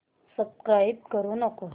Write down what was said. subscribe करू नको